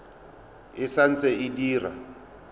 e sa ntse e dira